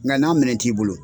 Nka n'a minɛ t'i bolo.